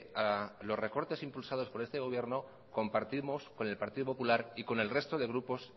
a los recortes impulsados por este gobierno compartimos con el partido popular y con el resto de grupos